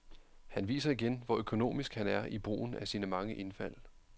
Han viser igen, hvor økonomisk han er i brugen af sine mange indfald.